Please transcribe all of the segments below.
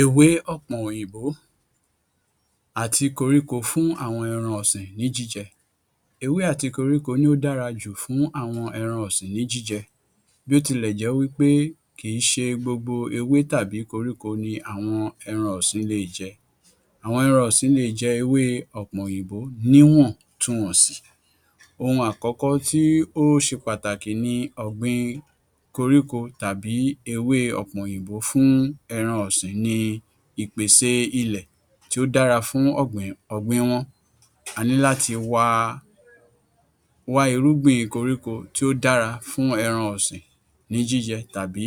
Ewé ọ̀pọ̀n òyìnbó àti koríko fún àwọn ẹran ọ̀sìn ní jíjẹ. Ewé àti koríko ni ó dára jù fún àwọn ẹran ọ̀sìn ní jíjẹ. Bí o tilẹ̀ jẹ́ wí pé kìí ṣe gbogbo ewé tàbí koríko ni àwọn ẹran ọ̀sìn le è jẹ. Àwọn ẹran ọ̀sìn le è jẹ ewée ọ̀pọ̀n òyìnbó níwọ̀ntunwọ̀nsì. Ohun àkọ́kọ́ tó ṣe pàtàkì ni ọ̀gbìn koríko tàbí ewé ọ̀pọ̀n òyìnbó fún ẹran ọ̀sìñ ni ìpèsè ilẹ̀ tí oh dára fún ọ̀gbìn wọn. A níláti wá irúgbìn koríko tí ó dára fún ẹran ọ̀sìn ní jíjẹ tàbí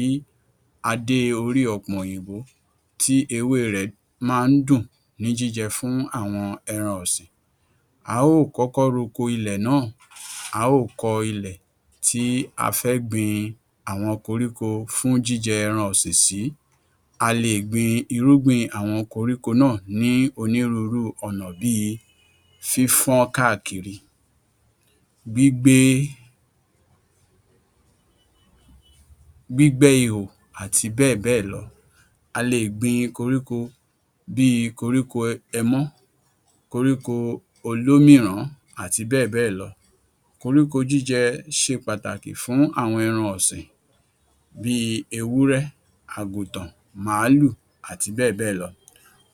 adé orí ọ̀pọ̀n òyìnbó tí ewé rẹ̀ máa ń dùn ní jíjẹ fún àwọn ẹran ọ̀sìn. A óò kọ́kọ́ roko ilẹ̀ náà. A óò kọ ilẹ̀ tí a fẹ́ gbìn àwọn koríko fún jíjẹ ẹran ọ̀sìn sí. A le è gbin irúgbìn àwọn koríko náà ní onírúurú ọ̀nà bí i fífọ́n káàkiri, gbígbẹ́ ihò àti bẹ́ẹ̀ bẹ́ẹ̀ lọ. A le è gbin koríko bí i koríko ẹmọ́, koríko olúmìràn-án àti bẹ́ẹ̀ bẹ́ẹ̀ lọ. Koríko jíjẹ ṣe pàtàkì fún àwọn ẹran ọ̀sìn bí i ewúrẹ́, àgùntàn, màálù àti bẹ́ẹ̀ bẹ́ẹ̀ lọ.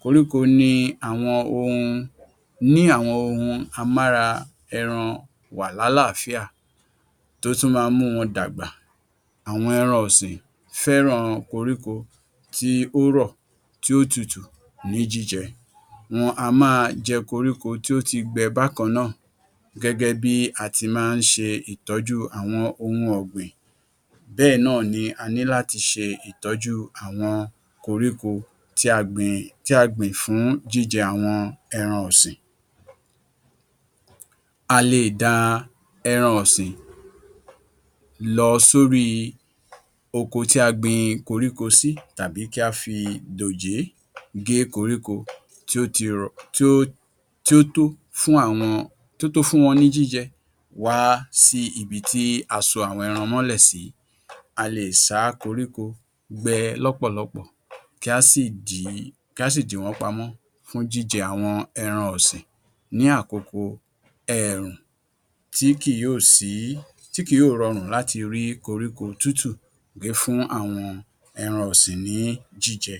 Koríko ni àwọn ohun ní àwọn ohun amára-ẹran-wà-ní-àláfíà; tó tún máa ń mú wọn dàgbà. Àwọn ẹran ọ̀sìn fẹ́ràn koríko tí ó rọ̀, tí ó tutù ní jíjẹ. Wọn a má a jẹ koríko tí ó ti gbẹ bákan náà. Gẹ́gẹ́ bí a ti máa ń ṣe ìtọ́jú àwọn ohun ọ̀gbìn bẹ́ẹ̀ náà ni a níláti ṣe ìtọ́jú koríko tí a gbìn fún jíjẹ àwọn ẹran ọ̀sìn. A le è da ẹran ọ̀sìn lọ sórí oko tí a gbìn koríko sí tàbí kí á fi dòjé gé koríko tí ó ti rọ̀, tí ó tó fún wọn ní jíjẹ wá sí ibi tí a so àwọn ẹran mọ́lẹ̀ sí. A le è sá koríko gbẹ lọ́pọ̀lọpọ̀, kí á sì dì wọ́n pamọ́ fún jíjẹ àwọn ẹran ọ̀sìn ní àkókò èèrùn tí kì yóò rọrùn láti rí koríko tútù gé fún ẹran ọ̀sìn ní jíjẹ.